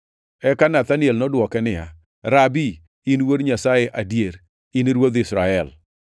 Eka Nathaniel nodwoke niya, “Rabi, in Wuod Nyasaye adier; in Ruodh Israel.”